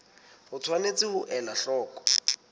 o tshwanetse ho ela hloko